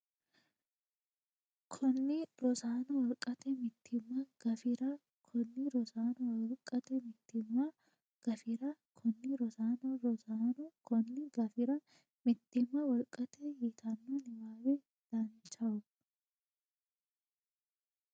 konni Rosaano Wolqate Mittimma gafira konni Rosaano Wolqate Mittimma gafira konni Rosaano Rosaano konni gafira Mittimma Wolqate yitanno niwaawe Danchaho !